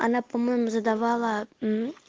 она по-моему задавала